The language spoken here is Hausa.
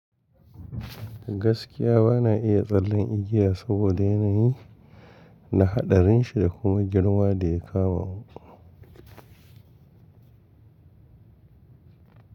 Gaskiya bana iya tsallen igiya saboda yanayi da haɗarin shi da kuma girma da ya kawo.